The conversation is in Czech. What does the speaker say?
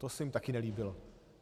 To se jim taky nelíbilo.